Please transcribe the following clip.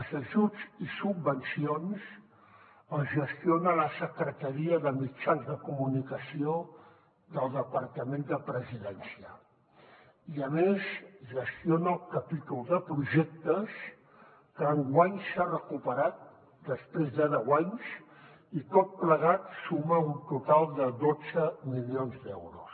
els ajuts i subvencions els gestiona la secretaria de mitjans de comunicació del departament de la presidència i a més gestiona el capítol de projectes que enguany s’ha recuperat després de deu anys i tot plegat suma un total de dotze milions d’euros